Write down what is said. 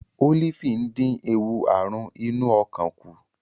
Ólífì ń dín ewu àrùn inú ọkàn kù.